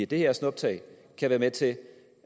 det her snuptag kan være med til